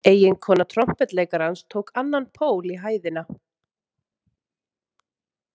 Eiginkona trompetleikarans tók annan pól í hæðina.